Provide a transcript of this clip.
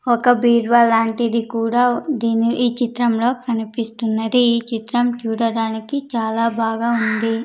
ఒక బీరువా లాంటిది కూడా దీని ఈ చిత్రంలో కనిపిస్తున్నది ఈ చిత్రం చూడడానికి చాలా బాగా ఉంది.